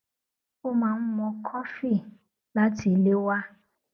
ó máa ń mú kọfí láti ilé wá